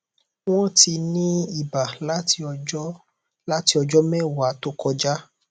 wọn ti ń ní iba láti ọjọ láti ọjọ mẹwàá tó kọjá